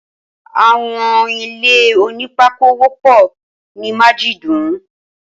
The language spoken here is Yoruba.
Awọn ilé ónìpàkó wọpọ ni màjidùún